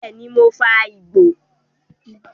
Bẹ́ẹ̀ni, mò ń fa igbó